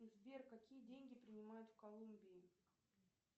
сбер какие деньги принимают в колумбии